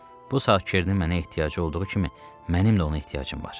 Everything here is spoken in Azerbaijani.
Bu saat Kernin mənə ehtiyacı olduğu kimi, mənim də ona ehtiyacım var.